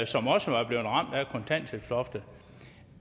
som også var blevet ramt af kontanthjælpsloftet